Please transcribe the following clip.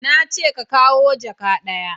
Na ce ka kawo jaka ɗaya